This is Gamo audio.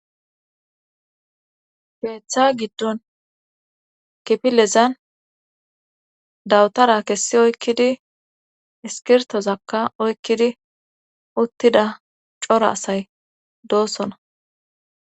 Keetha giddon kipilezan dawutara kessi oykkidi iskirtozakka oykkidi uttida cora asay doosona